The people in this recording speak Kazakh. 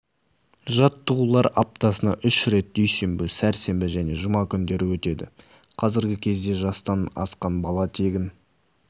жаттығулар аптасына үш рет дүйсенбі сәрсенбі және жұма күндері өтеді қазіргі кезде жастан асқан бала тегін